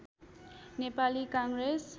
Nepali Congress